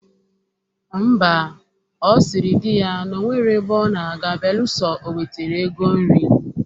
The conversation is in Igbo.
Ḿbà, ọ sịrị di ya na o nwero ebe ọ na-aga beelụsọ o wetara ego nri.